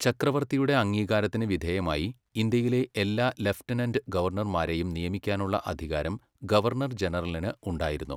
ചക്രവർത്തിയുടെ അംഗീകാരത്തിന് വിധേയമായി, ഇന്ത്യയിലെ എല്ലാ ലഫ്റ്റനൻറ്റ് ഗവർണർമാരെയും നിയമിക്കാനുള്ള അധികാരം ഗവർണർ ജനറലിന് ഉണ്ടായിരുന്നു.